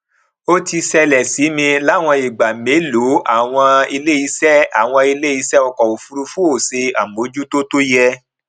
ó ti ṣẹlẹ sí mi láwọn ìgbà mélòó àwọn iléiṣẹ àwọn iléiṣẹ ọkọ òfurufú ò ṣe àmójútó tó yẹ